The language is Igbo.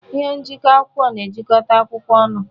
Ihe njiko akwụkwọ na-ejikọta akwụkwọ ọnụ.